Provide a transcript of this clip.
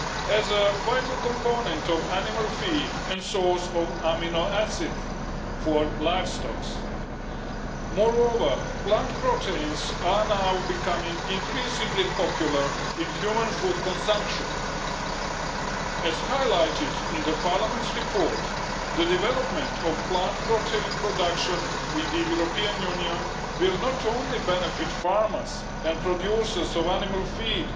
as a vital component of animal feed and source of amino acids for livestock. Moreover, plant proteins are now becoming increasingly popular in human food consumption. As highlighted in Parliament's report, the development of plant protein production in the European Union will not only benefit farmers and producers of animal feed